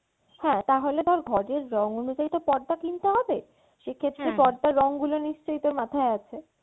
হ্যাঁ তাহলে তোর ঘরের রং অনুযায়ী তো পর্দা কিনতে হবে সেক্ষেত্রে পর্দার রং গুলো তো নিশ্চয়ই তোর মাথায় আছে?